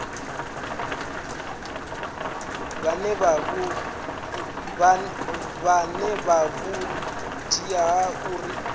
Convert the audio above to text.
vha na vhuṱanzi ha uri